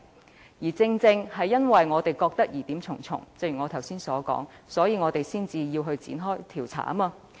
正如我剛才所說，正因我們認為疑點重重，所以才要展開調查。